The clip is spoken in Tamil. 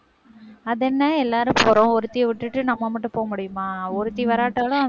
அதென்ன எல்லாரும் போறோம். ஒருத்திய விட்டுட்டு நம்ம மட்டும் போக முடியுமா? ஒருத்தி வராட்டாலும்,